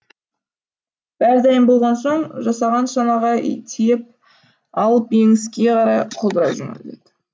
бәрі дайын болған соң жасаған шанаға тиеп алып еңіске қарай құлдырай жөнелді